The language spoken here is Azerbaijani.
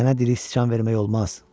Sənə deyirik sıçan vermək olmaz.